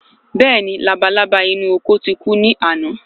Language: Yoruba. Béèni labalábá inú oko ti ku ni àná